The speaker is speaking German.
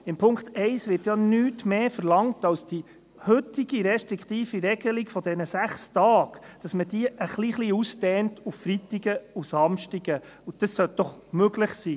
In Punkt 1 wird ja nichts anderes verlangt, als dass die heutige restriktive Regelung von 6 Tagen ein klein wenig ausgedehnt wird auf Freitage und Samstage, und das sollte doch möglich sein.